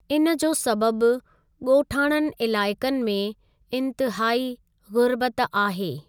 इन जो सबबु ॻोठाणनि इलाइक़नि में इन्तहाई ग़ुरबत आहे।